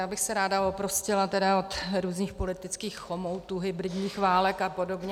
Já bych se ráda oprostila od různých politických chomoutů, hybridních válek a podobně.